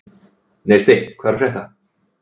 Neisti, hvað er að frétta?